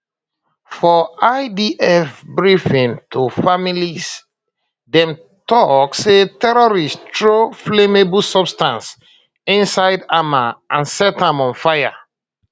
for idf briefing to families dem tok say terrorists throw flammable substance inside hamal and set am on fire